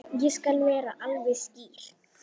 Ég skal vera alveg skýr.